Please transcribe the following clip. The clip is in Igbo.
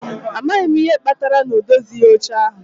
A maghị m ihe kpatara na ọ dozighị oche ahụ